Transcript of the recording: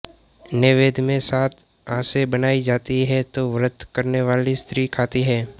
नैवेद्य में सात आसें बनायी जाती हैं तो व्रत करने वाली स्री खाती है